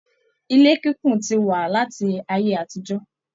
Ilé kíkún tí wá láti ayé àtijọ.